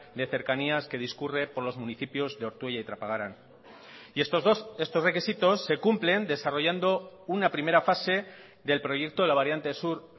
de cercanías que discurre por los municipios de ortuella y trapagarán y estos requisitos se cumplen desarrollando una primera fase del proyecto de la variante sur